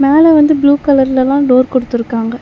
மேல வந்து ப்ளூ கலர்லெல்லா டோர் குடுத்துருக்காங்க.